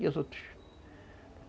E os outros?